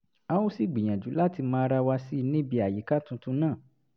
a ó sì gbìyànjú láti mọ ara wa sí i níbi àyíká tuntun náà